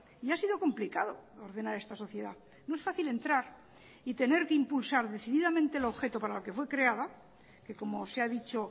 y ha sido complicado ordenar esta sociedad no es fácil entrar y tener que impulsar decididamente el objeto para la que fue creada que como se ha dicho